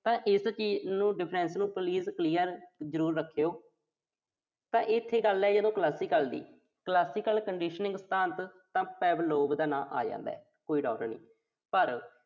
ਤਾਂ ਇਸ ਚੀਾਜ਼ ਨੂੰ ਜ਼ਰੂਰ ਰੱਖਿਓ। ਤਾਂ ਇਥੇ ਗੱਲ ਆ ਜਿਹੜੀ Classical ਦੀ Classical Conditioning ਸਿਧਾਂਤ ਤਾਂ Pavlov ਦਾ ਨਾਮ ਆ ਜਾਂਦਾ। ਪਰ